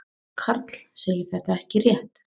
Karl segir þetta ekki rétt.